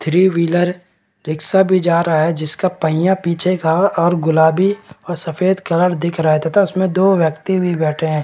Three wheeler rickshaw भी जा रहा है जिसका पहिया पीछे का और गुलाबी और सफ़ेद कलर दिख रहा है तथा उसमें दो व्यक्ति भी बैठे हैं।